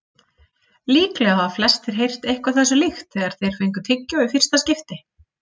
Líklega hafa flestir heyrt eitthvað þessu líkt þegar þeir fengu tyggjó í fyrsta skipti.